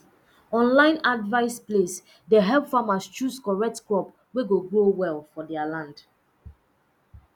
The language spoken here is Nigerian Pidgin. online advice place dey help farmers choose correct crop wey go grow well for their land